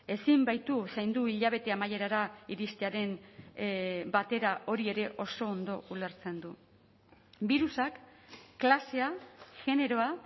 ezin baitu zaindu hilabete amaierara iristearen batera hori ere oso ondo ulertzen du birusak klasea generoa